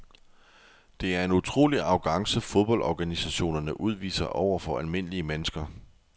Det er en utrolig arrogance fodboldorganisationerne udviser over for almindelige mennesker.